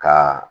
Ka